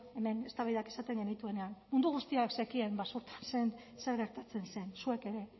hemen eztabaidak izaten genituenean mundu guztiak zekien basurtun zer gertatzen zen zuek ere